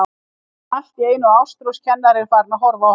Svo finnur hann allt í einu að Ástrós kennari er farin að horfa á hann.